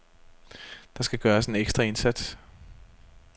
Der skal gøres en ekstra indsats.